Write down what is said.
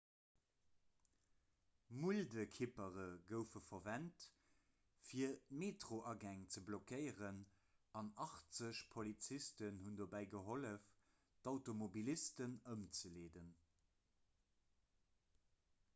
muldekippere goufe verwent fir d'metroagäng ze blockéieren an 80 polizisten hunn dobäi gehollef d'automobilisten ëmzeleeden